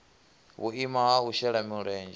vhuimo ha u shela mulenzhe